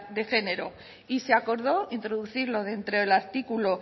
de género y se acordó introducirlo dentro del artículo